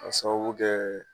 Ka sababu kɛ